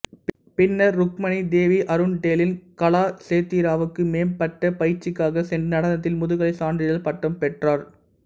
பின்னர் ருக்மிணி தேவி அருண்டேலின் கலாசேத்திராவுக்கு மேம்பட்ட பயிற்சிக்காகச் சென்று நடனத்தில் முதுகலை சான்றிதழ் பட்டம் பெற்றார்